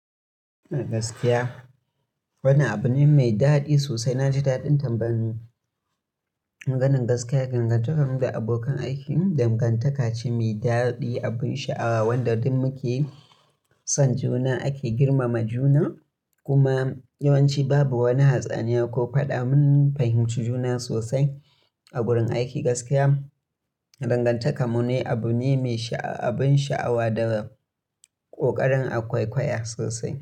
Gaskiya wani abu ne mai daɗi sosai. Na ji daɗin tambayan nan ganin gaskiya, dangantakar mu da abokan aikin, dangantaka ce mai daɗi, abin sha'awa wanda duk muke son juna. Ake girmama juna, kuma yawanci babu wani hatsaniya ko faɗa. Mun fahimci juna sosai a wurin aiki. Gaskiya, dangantakar mu ne abu ne mai sha'awa, abin sha'awa da ƙoƙarin akwaiƙwaya sosai.